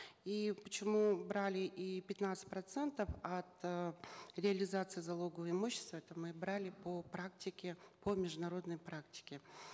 и почему брали и пятнадцать процентов от реализации залогового имущества это мы брали по практике по международной практике